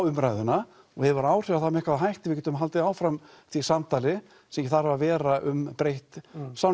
umræðuna og hefur áhrif á það með hvaða hætti við getum haldið áfram því samtali sem þarf að vera um breytt